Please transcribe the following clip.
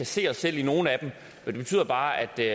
se os selv i nogle af dem men det betyder bare at vi